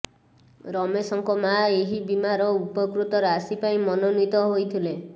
ରମେଶଙ୍କ ମା ଏହି ବୀମାର ଉପକୃତ ରାଶି ପାଇଁ ମନୋନୀତ ହୋଇଥିଲେ